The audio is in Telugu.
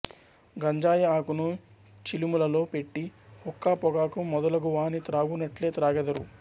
గంజాయి ఆకును చిలుములలో పెట్టి హుక్కా పొగాకు మొదలగువాని త్రాగునట్లే త్రాగెదరు